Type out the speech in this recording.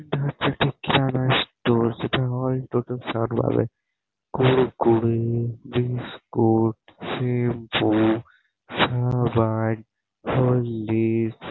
এটা হচ্ছে একটা চানা স্টোর যেটা হয় প্রথম চাট বালাই কুড়কুড়ে বিস্কুট শ্যাম্পু সাবান হরলিক্স ।